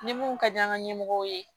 Ni mun ka di an ka ɲɛmɔgɔw ye